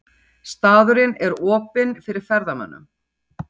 Staðurinn er opinn fyrir ferðamönnum.